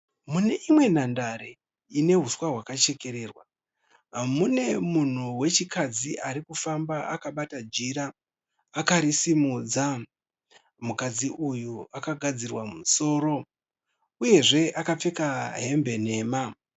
Mune imwe nhandare ine huswa kwakachekererwa mune munhu wechikadzi arikufamba akabata jira akarisimudza. Mukadzi uyu akagadzirwa musoro uyezve akapfeka hembe nhema